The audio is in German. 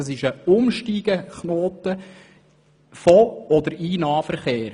Es handelt sich um einen Umsteigeknoten vom oder auf den Nahverkehr.